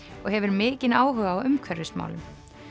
og hefur mikinn áhuga á umhverfismálum